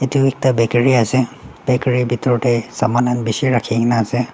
etu ekta bakery ase bakery bidor tey saman khan bishi raki kena ase.